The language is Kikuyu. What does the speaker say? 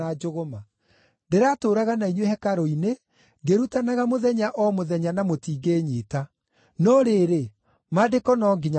Ndĩratũũraga na inyuĩ hekarũ-inĩ ngĩrutanaga mũthenya o mũthenya na mũtingĩĩnyiita. No rĩrĩ, Maandĩko no nginya mahiinge.”